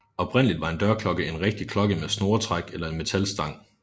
Oprindeligt var en dørklokke en rigtig klokke med snoretræk eller en metalstang